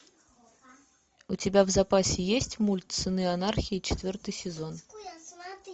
у тебя в запасе есть мульт сыны анархии четвертый сезон